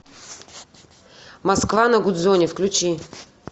москва на гудзоне включи